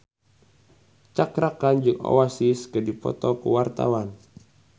Cakra Khan jeung Oasis keur dipoto ku wartawan